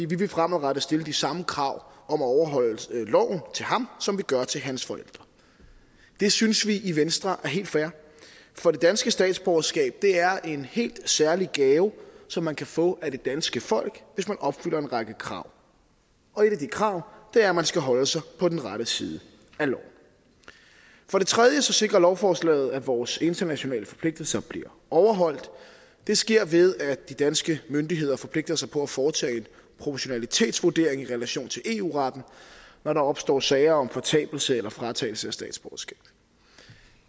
vi vil fremadrettet stille de samme krav om at overholde loven til ham som vi gør til hans forældre det synes vi i venstre er helt fair for det danske statsborgerskab er en helt særlig gave som man kan få af det danske folk hvis man opfylder en række krav og et af de krav er at man skal holde sig på den rette side af loven for det tredje sikrer lovforslaget at vores internationale forpligtelser bliver overholdt det sker ved at de danske myndigheder forpligter sig på at foretage en proportionalitetsvurdering i relation til eu retten når der opstår sager om fortabelse eller fratagelse af statsborgerskab